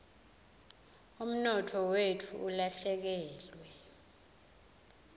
umnotfo wetfu ulahlekelwe